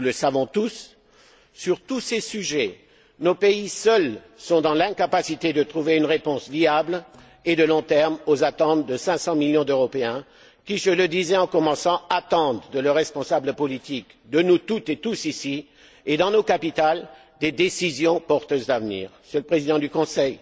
Nous le savons tous sur tous ces sujets, nos pays seuls sont dans l'incapacité de trouver une réponse viable et à long terme aux attentes des 500 millions d'Européens qui, je le disais en commençant, attendent de leurs responsables politiques, de nous toutes et tous ici et dans nos capitales, des décisions porteuses d'avenir. Monsieur le Président du Conseil,